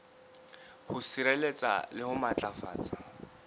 ho sireletsa le ho matlafatsa